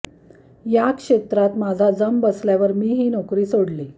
या क्षेत्रात माझा जम बसल्यावर मी ही नोकरी सोडली